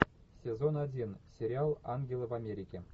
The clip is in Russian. сезон один сериал ангелы в америке